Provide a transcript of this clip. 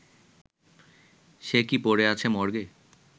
সে কি পড়ে আছে মর্গে